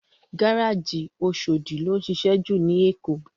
Gáráji Óṣódi ló nšišẹ jú ni Ékó